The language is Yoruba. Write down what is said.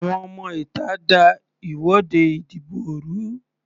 Àwọn ọmọ ìta da ìwọ́de ìdìbò rú.